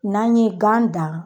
N'an ye gan dan